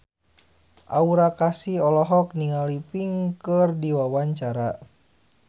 Aura Kasih olohok ningali Pink keur diwawancara